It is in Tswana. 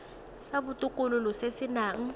sa botokololo se se nang